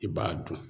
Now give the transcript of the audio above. I b'a dun